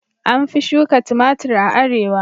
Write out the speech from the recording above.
An fi shuka tumatir a arewa.